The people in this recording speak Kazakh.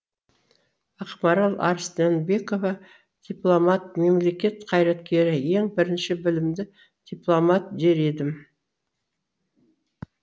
ақмарал арыстанбекова дипломат мемлекет қайраткері ең бірінші білімді дипломат дер едім